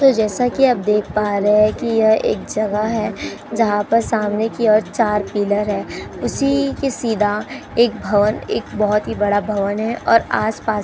तो जैसा कि आप देख पा रहे है कि यह एक जगह है। जहां सामने की ओर चार पिलर है। उसी के सीधा एक भवन एक बोहोत ही बड़ा भवन है और आसपास --